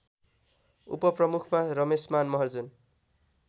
उपप्रमुखमा Rameshman Maharjan